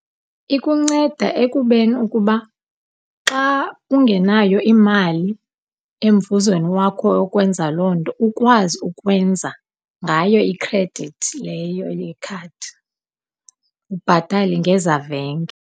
Ikunceda ekubeni ukuba xa ungenayo imali emvuzweni wakho yonkwenza loo nto ukwazi ukwenza ngayo ikhredithi leyo yekhadi, ubhatale ngezavenge.